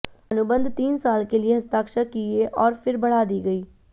अनुबंध तीन साल के लिए हस्ताक्षर किए और फिर बढ़ा दी गई